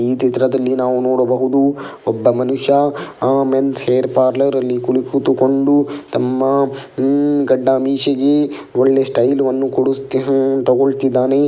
ಈ ಚಿತ್ರದಲ್ಲಿ ನಾವು ನೋಡಬಹುದು ಒಬ್ಬ ಮನುಷ್ಯ ಆ ಮೆನ್ಸ್ ಹೇರ್ ಪಾರ್ಲರ್ ಅಲ್ಲಿ ಕುಳಿ ಕೂತುಕೊಂಡು ತಮ್ಮ ಉಮ್ ಗಡ್ಡ ಮೀಸೆಗೆ ಒಳ್ಳೆ ಸ್ಟೈಲ್ ಅನ್ನು ಕೊಡುತಿ ಅಹ್ ತಗೊಳ್ತಿದ್ದಾನೆ .